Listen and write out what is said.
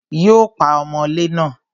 Yóò pa ọmọlé náà